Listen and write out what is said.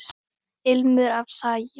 Ilmur af sagi.